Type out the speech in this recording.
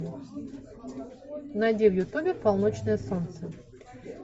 найди в ютубе полночное солнце